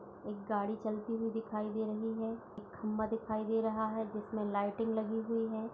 एक गाड़ी चलती हुई दिखाई दे रही है | एक खंभा दिखाई दे रहा है जिसमें लाइटिंग लगी हुई है |